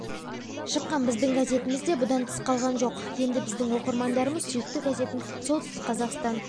шыққан біздің газетіміз де бұдан тыс қалған жоқ енді біздің оқырмандарымыз сүйікті газетін солтүстік қазақстан